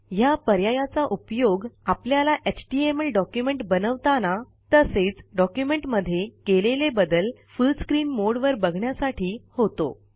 ह्या पर्यायाचा उपयोग आपल्याला एचटीएमएल डॉक्युमेंट बनवताना तसेच डॉक्युमेंट मध्ये केलेले बदल फुल स्क्रीन मोडवर बघण्यासाठी होतो